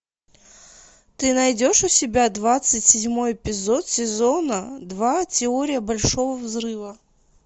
ты найдешь у себя двадцать седьмой эпизод сезона два теория большого взрыва